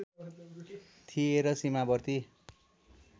थिए र सीमावर्ती